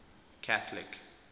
catholic